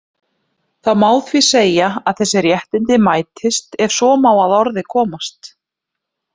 Það má því segja að þessi réttindi mætist, ef svo má að orði komast.